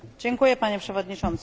Panie Przewodniczący!